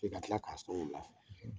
E ka tila k'a sɔn wulafɛ.